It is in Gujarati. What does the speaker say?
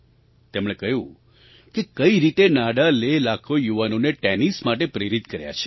તેમણે કહ્યું કે કઈ રીતે નાડાલે લાખો યુવાઓને ટૅનિસ માટે પ્રેરિત કર્યા છે